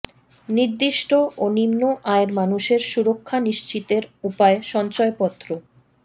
নির্দিষ্ট ও নিম্ন আয়ের মানুষের সুরক্ষা নিশ্চিতের উপায় সঞ্চয়পত্র